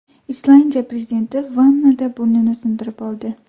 Islandiya prezidenti vannada burnini sindirib oldi.